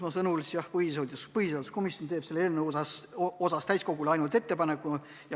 Mina ütlesin, et põhiseaduskomisjon teeb selle eelnõu osas täiskogule ainult ettepaneku.